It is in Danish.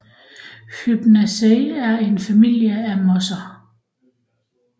Hypnaceae er en familie af mosser